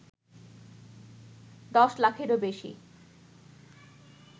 ১০ লাখেরও বেশি